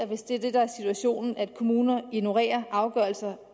hvis det er det der er situationen og kommuner ignorerer afgørelser